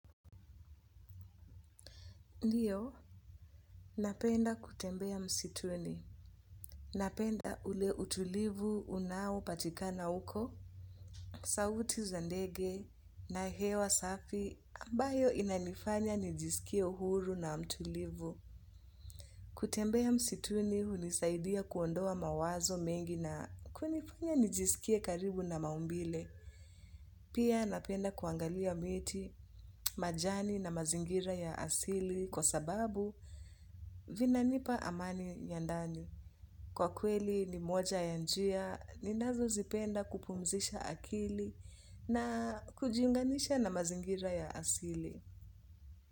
Ndiyo napenda kutembea msituni napenda ule utulivu unao patikana huko sauti za ndege na hewa safi ambayo inanifanya nijisikie huru na mtulivu. Kutembea msituni hunisaidia kuondoa mawazo mengi na kunifanya nijisikie karibu na maumbile. Pia napenda kuangalia miti majani na mazingira ya asili kwa sababu vina nipa amani ya ndani. Kwa kweli ni moja ya njia ninazo zipenda kupumzisha akili na kujiunganisha na mazingira ya asili.